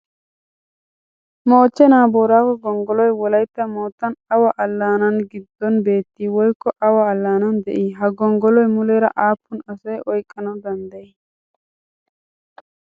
Mochchenaa booraago gonggolloy Wolaytta moottan awa allaanaa giddon beettii woykko awa allaanan de"ii? Ha gonggoloy muleera aappun asaa oyqqanawu danddayii?